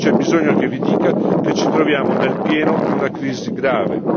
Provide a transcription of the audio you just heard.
Non c'è bisogno che vi dica che ci troviamo nel pieno di una crisi grave.